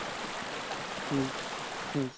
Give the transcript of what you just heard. মোক গালি পাৰিলে তই যা